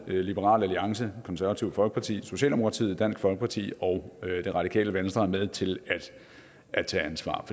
liberal alliance konservative folkeparti socialdemokratiet dansk folkeparti og det radikale venstre er med til at tage ansvar